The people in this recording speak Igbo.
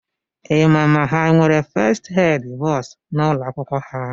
Ịma ma ha nwere fest ed bọs n’ụlọakwụkwọ ha?